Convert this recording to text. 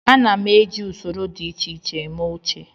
Ana m eji usoro dị iche iche eme oche